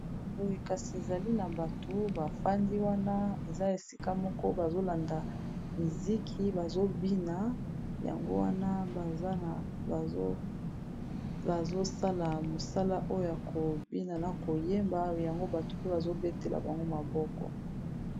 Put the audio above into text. Boye kasi ezali na bato bafandi wana eza esika moko bazolanda miziki bazobina yango wana bazosala mosala oya kobina na koyeba yango bato mpe bazobetela bango maboko.